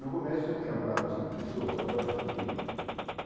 No começo tinha quatro ou cinco pessoas, agora tem trinta.